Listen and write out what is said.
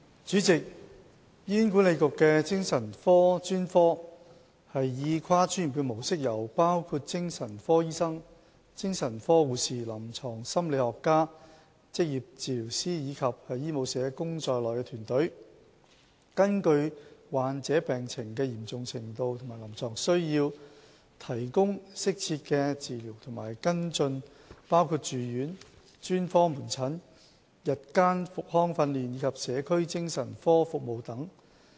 主席，醫院管理局的精神科專科以跨專業的模式，由包括精神科醫生、精神科護士、臨床心理學家、職業治療師，以及醫務社工在內的團隊，根據患者病情的嚴重程度及臨床需要，提供適切的治療和跟進，包括住院、專科門診、日間復康訓練及社區精神科服務等。